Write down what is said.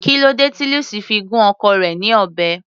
Kílódé tí Lucy fi gún ọkọ rẹ̀ ní ọ̀bẹ.